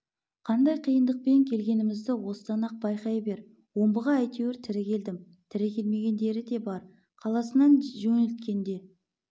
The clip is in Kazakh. қандай қиындықпен келгенімізді осыдан-ақ байқай бер омбыға әйтеуір тірі келдім тірі келмегендері де бар қаласынан жөнелткенде